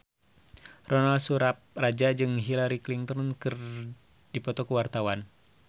Ronal Surapradja jeung Hillary Clinton keur dipoto ku wartawan